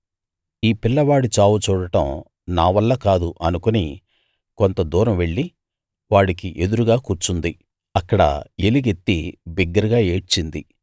ఈ పిల్లవాడి చావు చూడటం నా వల్ల కాదు అనుకుని కొంత దూరం వెళ్లి వాడికి ఎదురుగా కూర్చుంది అక్కడ ఎలుగెత్తి బిగ్గరగా ఏడ్చింది